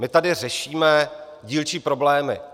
My tady řešíme dílčí problémy.